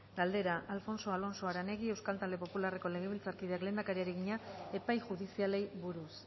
galdera alfonso alonso aranegui euskal talde popularreko legebiltzarkideak lehendakariari egina epai judizialei buruz